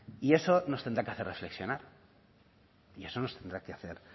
y eso nos tendrá que hacer reflexionar y eso nos tendrá que hacer